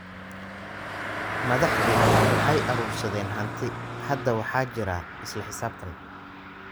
Madaxdu waxay urursadeen hanti. Hadda waxaa jira isla xisaabtan.